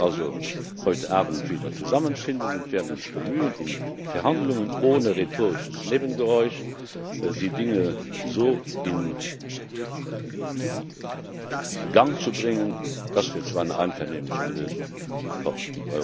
Wir werden uns also heute Abend wieder zusammenfinden und werden uns bemühen, in Verhandlungen ohne rhetorisches Nebengeräusch die Dinge so in Gang zu bringen, dass wir zu einer einvernehmlichen Lösung kommen.